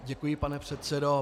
Děkuji, pane předsedo.